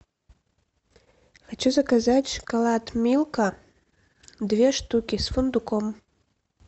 хочу заказать шоколад милка две штуки с фундуком